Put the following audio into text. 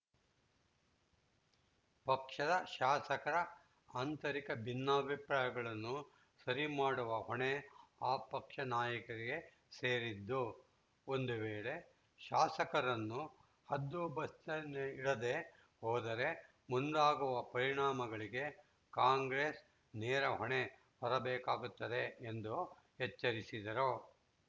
ಪಕ್ಷದ ಶಾಸಕರ ಆಂತರಿಕ ಭಿನ್ನಾಪ್ರಾಯಗಳನ್ನು ಸರಿ ಮಾಡುವ ಹೊಣೆ ಆ ಪಕ್ಷ ನಾಯಕರಿಗೆ ಸೇರಿದ್ದು ಒಂದು ವೇಳೆ ಶಾಸಕರನ್ನು ಹದ್ದುಬಸ್ತಿನಲ್ಲಿಡದೇ ಹೋದರೆ ಮುಂದಾಗುವ ಪರಿಣಾಮಗಳಿಗೆ ಕಾಂಗ್ರೆಸ್‌ ನೇರ ಹೊಣೆ ಹೊರಬೇಕಾಗುತ್ತದೆ ಎಂದು ಎಚ್ಚರಿಸಿದರು